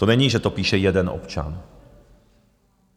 To není, že to píše jeden občan.